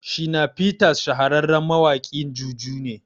Shina Peters shahararren mawaƙin juju ne